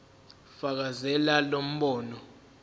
fakazela lo mbono